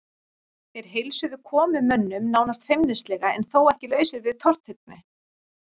Þeir heilsuðu komumönnum nánast feimnislega en þó ekki lausir við tortryggni.